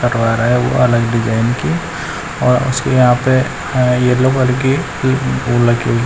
वो अलग डिजाइन की और उसके यहां पे येलो कलर की फूल लगी हुई--